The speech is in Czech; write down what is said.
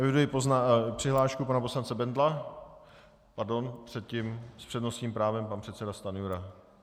Eviduji přihlášku pana poslance Bendla - pardon předtím s přednostním právem pan předseda Stanjura.